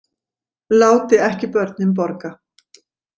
Láti ekki börnin borga